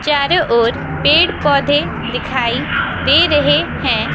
चारों ओर पेड़ पौधे दिखाई दे रहे हैं।